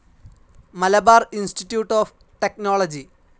Malabar institute of technology.